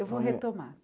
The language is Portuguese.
Eu vou retomar.